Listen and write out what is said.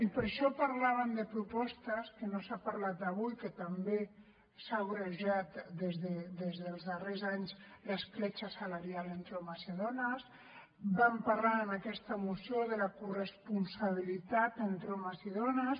i per això parlàvem de propostes de què no s’ha parlat avui que també s’ha agreujat des dels darrers anys l’escletxa salarial entre homes i dones vam parlar en aquesta moció de la corresponsabilitat entre homes i dones